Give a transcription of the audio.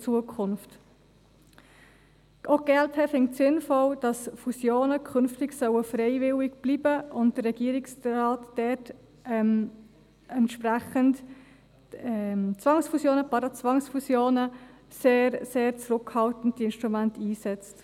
Auch die glp findet es sinnvoll, dass Fusionen künftig freiwillig bleiben sollen und der Regierungsrat dort entsprechend die Instrumente Zwangsfusionen, Parazwangsfusionen sehr zurückhaltend einsetzt.